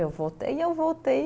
Eu voltei, e eu voltei.